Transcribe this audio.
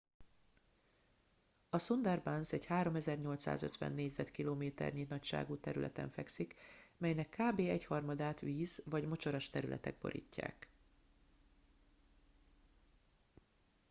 a sundarbans egy 3850 km² nagyságú területen fekszik melynek kb. egyharmadát víz/mocsaras területek borítják